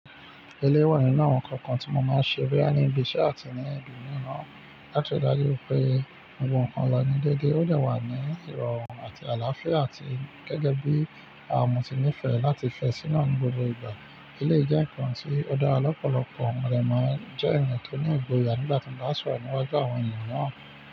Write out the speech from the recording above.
Eléyi nínu awon nǹkan kan tí mo máa ń ṣe boyá ní ibi iṣẹ́ àti ní ibi mí nàa láti rí i dájú pé ogbogbo ǹ kan lọ ní dèdé, ó dẹ̀ wà ní ìrọ̀rùn àti àlàáfíà, àti gẹ́gẹ́ bí àwọn mo ti nífẹ̀ẹ́ láti fẹ́ síná ní gbogbo ìgbà. Eléyìí jẹ́ ǹkan tí ó dára lọ́pọ̀lọpọ̀, rẹ̀ máa jẹ́ ẹ̀yìn tó ní ìgboyà nígbà tí mo bá sọ̀rọ̀ mọ́ àwọn ènìyàn náà.